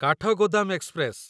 Kathgodam express